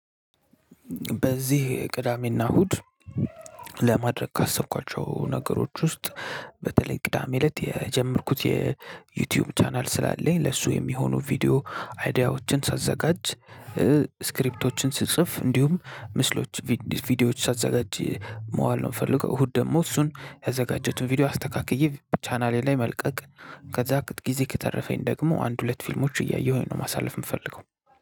በዚህ ቅዳሜና እሁድ ለማድረግ ካሰብኳቸው ነገሮች ውስጥ በተለይ ቅዳሜ ለት የጀመርኩት የዩቲዩብ ቻናል ስላለኝ ለሱ የሚሆኑ ቪዲዮ አይዲያዎችን ሳዘጋጅ ስክሪፕቶችን ስትጽፍ እንዲሁም ምስሎች ቪዲዮዎች ሳዘጋጅ መዋል ነው የምፈልገው። እሁድ ደግሞ እሱን ያዘጋጀሁትን ቪዲዮ አስተካክዬ ቻናሌ ላይ መልቀቅ ከዛ ጊዜ ከተረፈኝ ደግሞ አንድ ሁለት ፊልሞች እያየሁኝ ነው ማሳለፍ የምፈልገው።